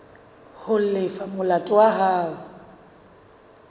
ho lefa molato wa hao